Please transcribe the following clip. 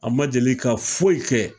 An ma deli ka foyi kɛ